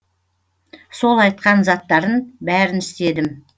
сол айтқан заттарын бәрін істедім